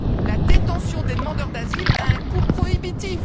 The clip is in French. La détention des demandeurs d'asile a un coût prohibitif.